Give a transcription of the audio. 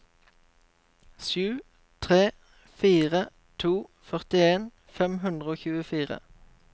sju tre fire to førtien fem hundre og tjuefire